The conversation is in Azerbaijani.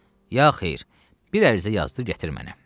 Ya xeyir, bir ərizə yazıb gətir mənə.